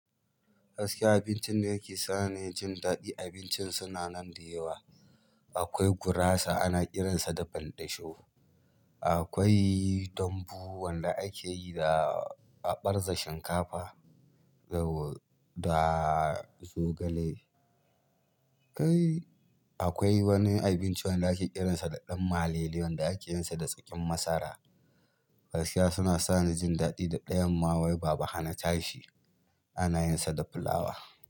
Gaskiya abincin da yake sa ni jin daɗi abincin suna nan da yawa. Akwai gurasa ana kiransa da banɗasho. Akwai dambu wanda akeyi da a barza shinkafa da zogale. Akwai wani abinci wanda ake kiransa da ɗan malele wanda akeyinsa da tsakin masara. Gaskiya suna sa ni jin daɗi da ɗayan ma wai baba hana tashi, ana yinsa da fulawa.